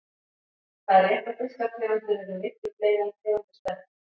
Það er rétt að fiskategundir eru miklu fleiri en tegundir spendýra.